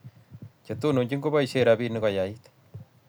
chetononchin ko baishen rabinik koait